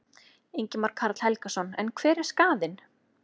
Ingimar Karl Helgason: En hver er skaðinn?